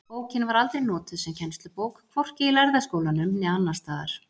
Bókin var aldrei notuð sem kennslubók, hvorki í Lærða skólanum né annars staðar.